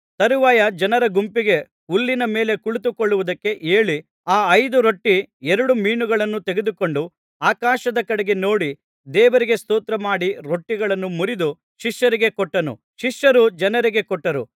ತರುವಾಯ ಜನರ ಗುಂಪಿಗೆ ಹುಲ್ಲಿನ ಮೇಲೆ ಕುಳಿತುಕೊಳ್ಳುವುದಕ್ಕೆ ಹೇಳಿ ಆ ಐದು ರೊಟ್ಟಿ ಎರಡು ಮೀನುಗಳನ್ನು ತೆಗೆದುಕೊಂಡು ಆಕಾಶದ ಕಡೆಗೆ ನೋಡಿ ದೇವರಿಗೆ ಸ್ತೋತ್ರ ಮಾಡಿ ರೊಟ್ಟಿಗಳನ್ನು ಮುರಿದು ಶಿಷ್ಯರಿಗೆ ಕೊಟ್ಟನು ಶಿಷ್ಯರು ಜನರಿಗೆ ಕೊಟ್ಟರು